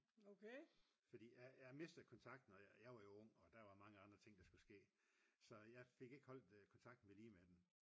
fordi jeg mistede kontakten og jeg var jo ung og der var mange andre ting der skulle ske så jeg fik ikke holdt kontakten vedlige med dem